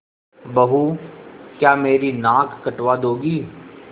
बहू क्या मेरी नाक कटवा दोगी